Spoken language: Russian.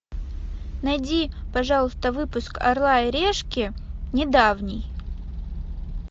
найди пожалуйста выпуск орла и решки недавний